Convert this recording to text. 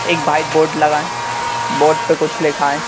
एक white board लगा है बोर्ड पे कुछ लिखा है।